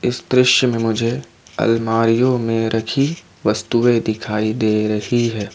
इस दृश्य में मुझे अलमारीयो में रखी वस्तुएं दिखाई दे रही है।